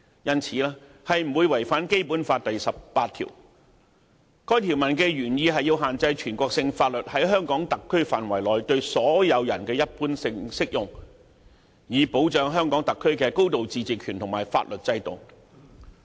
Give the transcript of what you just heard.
因此，《合作安排》不會違反《基本法》第十八條，該條文的原意是限制全國性法律在香港特區範圍內對所有人一般性適用，以保障香港特區的高度自治權和法律制度。